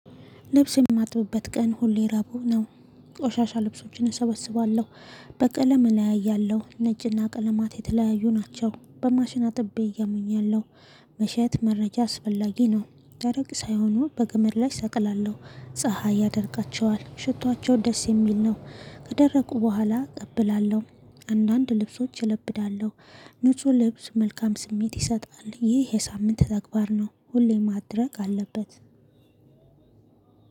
ልብስ የማጥብበት ቀን ሁሌ ረቡዕ ነው። ቆሻሻ ልብሶችን እሰበስባለሁ። በቀለም እለያያለሁ፣ ነጭና ቀለማት የተለያዩ ናቸው። በማሽን አጥቤ እየሞኛለሁ። መቼስ መረጃ አስፈላጊ ነው። ደረቅ ሳይሆኑ በገመድ ላይ ሰቅላለሁ። ፀሀይ ያደርጋቸዋል፣ ሽቷቸው ደስ የሚል ነው። ከደረቁ በኋላ አቀብላለሁ። አንዳንድ ልብሶች እለብዳለሁ። ንጹህ ልብስ መልካም ስሜት ይሰጣል። ይሄ የሳምንት ተግባር ነው፣ ሁሌ ማድረግ አለበት።